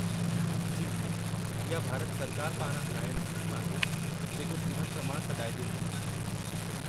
जी, इहा भारत सरकार पारां हलायलु स्कीम आहे , जेको जीवन प्रमाण सॾाईजे थी।